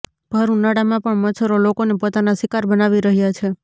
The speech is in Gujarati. ભર ઉનાળામાં પણ મચ્છરો લોકોને પોતાના શિકાર બનાવી રહ્યા છે